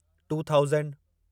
two thousand